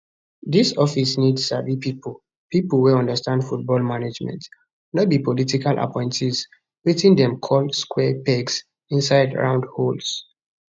dis office need sabi pipo pipo wey understand football management no be political appointees wetin dem call square pegs inside round holes